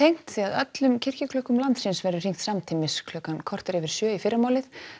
öllum kirkjuklukkum landsins verður hringt samtímis klukkan korter yfir sjö í fyrramálið